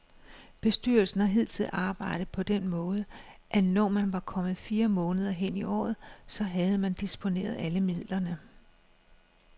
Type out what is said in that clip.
Bestyrelsen har hidtil arbejdet på den måde, at når man var kommet fire måneder hen i året, så havde man disponeret alle midlerne.